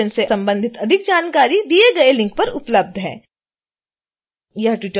इस मिशन से संबंधित अधिक जानकारी दिए गए लिंक पर उपलब्ध है